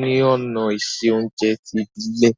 ni òná ìse ounje ti ìbílẹ́